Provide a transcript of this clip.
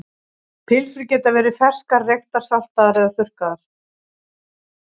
Pylsur geta verið ferskar, reyktar, saltaðar eða þurrkaðar.